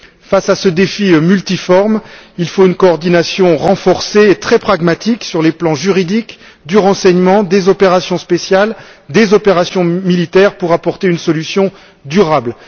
Face à ce défi multiforme, il faut une coordination renforcée et très pragmatique sur les plans juridique, du renseignement, des opérations spéciales et des opérations militaires pour apporter une solution durable.